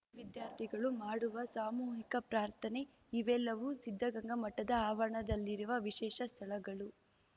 ವಿದ್ಯಾರ್ಥಿಗಳು ಮಾಡುವ ಸಾಮೂಹಿಕ ಪ್ರಾರ್ಥನೆ ಇವೆಲ್ಲವೂ ಸಿದ್ಧಗಂಗಾ ಮಠದ ಆವರಣದಲ್ಲಿರುವ ವಿಶೇಷ ಸ್ಥಳಗಳು